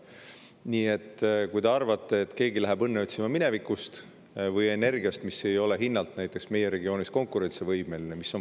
Nii et ei maksa arvata, et keegi läheb õnne otsima minevikust või energiast, mis ei ole hinnalt näiteks meie regioonis konkurentsivõimeline.